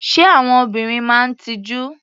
Ṣé àwọn obìnrin máa ń tijú?